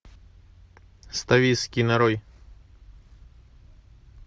ставиский нарой